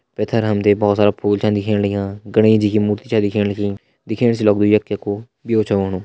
पैथर हम तें भोत सारा फूल छन दिखेण लग्यां गणेश जी की मूर्ति छ दिखेण लगीं दिखेण से लगदु यख कै कु ब्यो छ होणु।